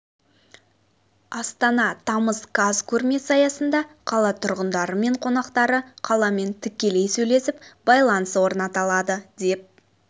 астана тамыз қаз көрмесі аясында қала тұрғындары мен қонақтары қаламен тікелей сөйлесіп байланыс орната алады деп